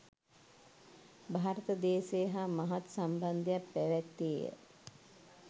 භාරත දේශය හා මහත් සම්බන්ධයක් පැවැත්තේය.